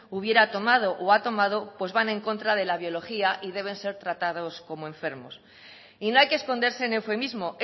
hubiera tomado o ha tomado pues van en contra de la biología y han de ser tratados como enfermos y no hay que esconderse en eufemismos